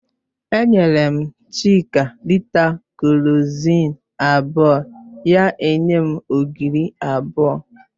Enyere m Chika lịta kerọzin abụọ, ya enye m ogiri abụọ